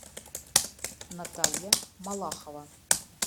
наталья малахова